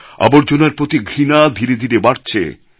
আবর্জনার প্রতি ঘৃণা ধীরে ধীরে বাড়ছে